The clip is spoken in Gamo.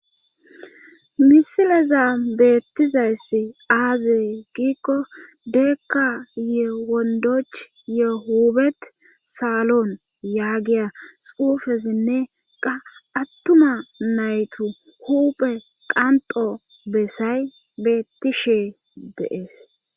misileza beettizayssi aazey giikko deekka yewondoch ye hubet saalon yaagiya xuufezinne qa attuma naytu huuphe qanxo bessay beetti shee deees